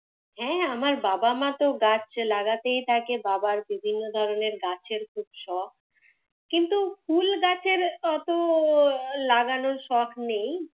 হ্যাঁ আমার বাবা মা তো গাছ লাগাতেই থাকে, বাবার বিভিন্ন ধরণের গাছের খুব শখ। কিন্তু ফুল গাছের এতো লাগানোর শখ নেই।